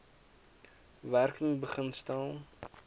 werking begin stel